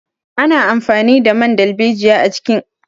Ana amfani da man darbejiya a cikin kayayyakin kula da fata.